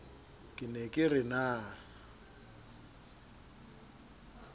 ke ne ke re na